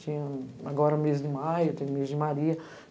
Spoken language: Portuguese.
Tinha agora o mês de maio, o mês de maria.